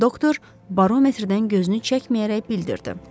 Doktor barometrdən gözünü çəkməyərək bildirdi.